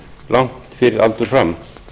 langt fyrir aldur fram